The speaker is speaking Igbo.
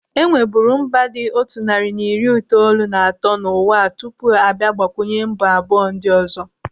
Enweburu mba dị otu narị na iri itoolu na atọ n'ụwa a tupu abịa gbakwunye mba abụọ ndị ọzọ.